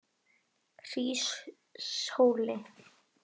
Hríshóli